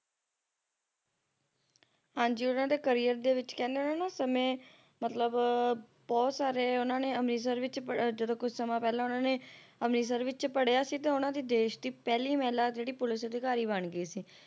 ਹਾਂਜੀ ਉਹਨਾਂ ਦੇ career ਦੇ ਵਿੱਚ ਕਹਿੰਦੇ ਨੇ ਉਹਨਾਂ ਸਮੇਂ ਮਤਲਬ ਬਹੁਤ ਸਾਰੇ ਉਹਨਾਂ ਨੇ ਅੰਮ੍ਰਿਤਸਰ ਵਿੱਚ ਜਦੋ ਕੁਛ ਸਮਾਂ ਪਹਿਲਾ ਉਹਨਾਂ ਨੇ ਅੰਮ੍ਰਿਤਸਰ ਵਿੱਚ ਪੜ੍ਹਿਆ ਸੀ ਤਾਂ ਉਹਨਾਂ ਦੀ ਦੇਸ਼ ਦੀ ਪਹਿਲੀ ਮਹਿਲਾ ਜਿਹੜੀ police ਅਧਿਕਾਰੀ ਬਣ ਗਈ ਸੀ